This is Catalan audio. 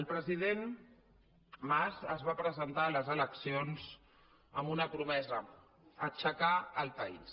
el president mas es va presentar a les eleccions amb una promesa aixecar el país